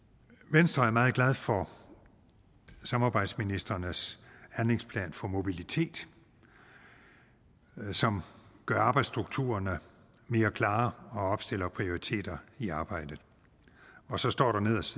venstre er meget glad for samarbejdsministrenes handlingsplan for mobilitet som gør arbejdsstrukturerne mere klare og opstiller prioriteter i arbejdet og så står der nederst